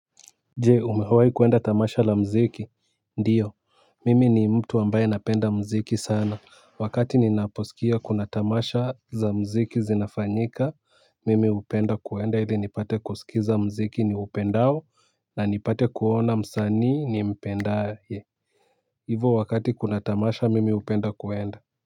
Jee umehawai kwenda tamasha la mziki ndiyo mimi ni mtu ambaye napenda mziki sana. Wakati ninaposikia kuna tamasha za mziki zinafanyika mimi upenda kuenda hili nipate kuskiza mziki niupendao na nipate kuona msanii nimpendaye. Hivo wakati kuna tamasha mimi upenda kuenda.